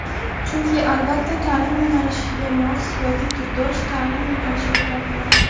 chunki albatta taʼlim yo‘nalishigi mos (yoki turdosh) taʼlim yo‘nalishi topiladi.